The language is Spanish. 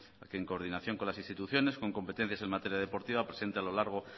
a que en coordinación con las instituciones con competencias en materia deportiva presente a lo largo